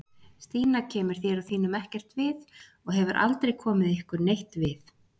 Stína kemur þér og þínum ekkert við og hefur aldrei komið ykkur neitt við